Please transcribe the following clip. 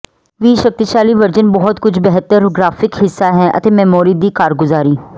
ਵੀ ਸ਼ਕਤੀਸ਼ਾਲੀ ਵਰਜਨ ਬਹੁਤ ਕੁਝ ਬਿਹਤਰ ਗ੍ਰਾਫਿਕ ਹਿੱਸਾ ਹੈ ਅਤੇ ਮੈਮੋਰੀ ਦੀ ਕਾਰਗੁਜ਼ਾਰੀ